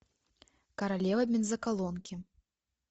королева бензоколонки